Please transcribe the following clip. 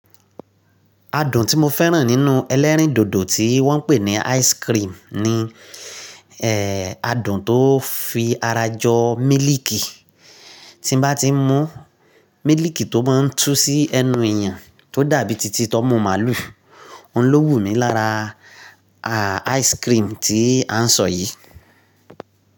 Adùn tí mo fẹ́ràn nínú ẹlẹ́rìndòdò tí wọ́n pè ní ice cream ni, ẹ́ adùn tó fi ara jọ mílìkì tí bá ti mún, mílìkì tó má ń tú sí ẹnu èèyàn tó dàbí títí tómú màlú. Ohun ló wù mí lára ice cream tí à ń sọ yìí.